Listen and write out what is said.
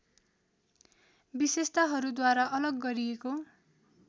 विशेषताहरूद्वारा अलग गरिएको